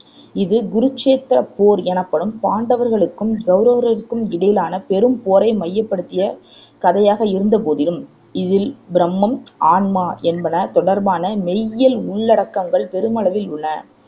இது குருச்சேத்திரப் போர் எனப்படும் பாண்டவர்களுக்கும், கௌரவர்களுக்கும் இடையிலான பெரும் போரை மையப்படுத்திய கதையாக இருந்தபோதிலும் இதில் பிரம்மம், ஆன்மா என்பன தொடர்பானமெய்யியல் உள்ளடக்கங்கள் பெருமளவில் உள்ளன